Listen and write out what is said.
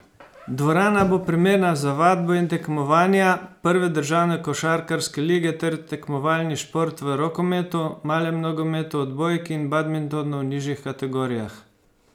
Dvorana bo primerna za vadbo in tekmovanja prve državne košarkarske lige ter tekmovalni šport v rokometu, malem nogometu, odbojki in badmintonu v nižjih kategorijah.